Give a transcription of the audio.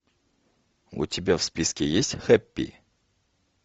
у тебя в списке есть хэппи